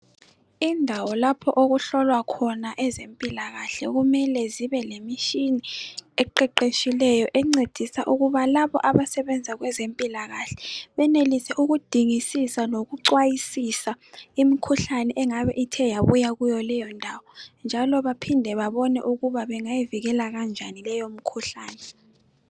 Indawo lapho okuhlolwa khona ezempilakahle kumele zibe lemitshina eqeqetshileyo encedisa ukuba labo abasebenza kwezempilakahle benelise ukudingisisa lokucwayisisa imkhuhlane engabe ithe yabuya kuyo leyo ndawo, njalo baphinde babobe ukuthi bangayivikela njani leyo mikhuhlane.